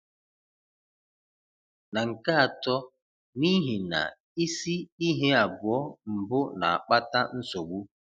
Na nke atọ, n'ihi na isi ihe abụọ mbụ na-akpata nsogbu.